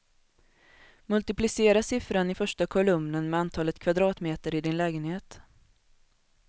Multiplicera siffran i första kolumnen med antalet kvadratmeter i din lägenhet.